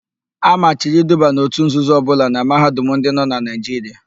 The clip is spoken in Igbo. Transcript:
A machiri iduba n òtù nzuzo ọbụla na Mahadum ndị nọ na Naijiria.